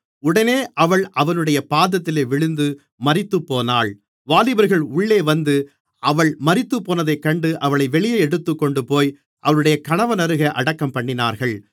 உடனே அவள் அவனுடைய பாதத்தில் விழுந்து மரித்துப்போனாள் வாலிபர்கள் உள்ளே வந்து அவள் மரித்துப்போனதைக் கண்டு அவளை வெளியே எடுத்துக்கொண்டுபோய் அவளுடைய கணவனருகே அடக்கம்பண்ணினார்கள்